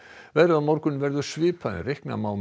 veðrið á morgun verður svipað en reikna má með